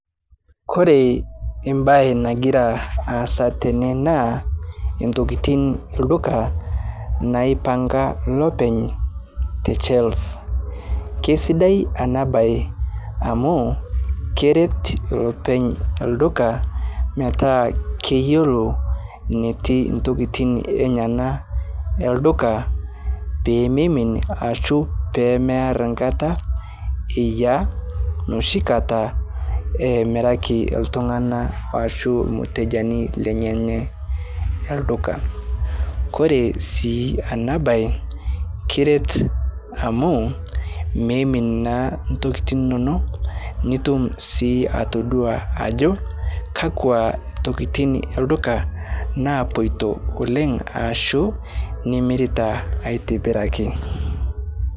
Kore bae nagira asa tene naa ntokitin lduka naipanga lopeny teshelv keisidai ana bae amu keret lopeny lduka metaa keyelo netii ntokitin enyana elduka pememin ashu mear nkata iyaa noshikata emiraki ltungana ashu lmutejani lenyenye elduka kore sii ana bae keret amu meimin naa ntokitin inono nitum sii atodua ajo kakwa tokitin elduka naipotio oleng aashu nimirita atibiraki.